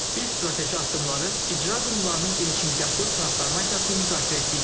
Biz strateji addımları, icra qurumlarının genişmiqyaslı transformasiyasını müzakirə etdik.